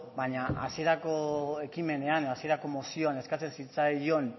baina hasierako ekimenean hasierako mozioan eskatzen zitzaion